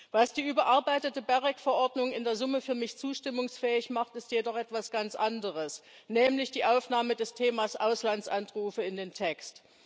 Was die überarbeitete GEREK Verordnung in der Summe für mich zustimmungsfähig macht, ist jedoch etwas ganz anderes, nämlich die Aufnahme des Themas Auslandsanrufe in den Text.